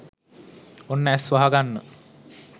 ඔන්න ඇස් වහගන්න